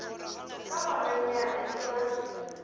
ka go nanya e ba